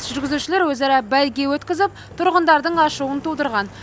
жүргізушілер өзара бәйге өткізіп тұрғындардың ашуын тудырған